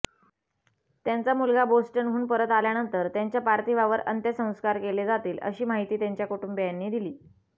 त्यांचा मुलगा बोस्टनहून परत आल्यानंतर त्यांच्या पार्थिवावर अंत्यसंस्कार केले जातील अशी माहिती त्यांच्या कुटुंबियांनी दिली